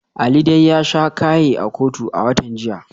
Ali dai ya sha kaye a kotu a watan jiya.